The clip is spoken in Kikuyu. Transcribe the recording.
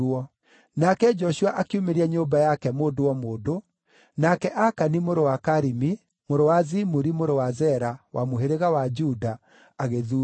Nake Joshua akiumĩria nyũmba yake mũndũ o mũndũ, nake Akani mũrũ wa Karimi, mũrũ wa Zimuri, mũrũ wa Zera, wa mũhĩrĩga wa Juda, agĩthuurwo.